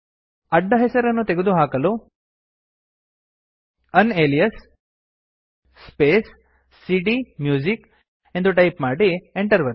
ಅಡ್ಡ ಹೆಸರನ್ನು ತೆಗೆದುಹಾಕಲು ಯುನಾಲಿಯಾಸ್ ಸ್ಪೇಸ್ ಸಿಡಿಎಂಯೂಸಿಕ್ ಎಂದು ಟೈಪ್ ಮಾಡಿ Enter ಒತ್ತಿ